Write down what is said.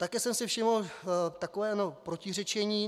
Také jsem si všiml takového protiřečení.